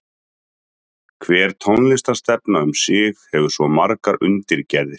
Hver tónlistarstefna um sig hefur svo margar undirgerðir.